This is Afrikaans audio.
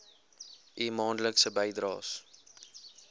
u maandelikse bydraes